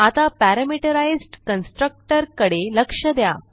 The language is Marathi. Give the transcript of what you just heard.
आता पॅरामीटराईज्ड कन्स्ट्रक्टर कडे लक्ष द्या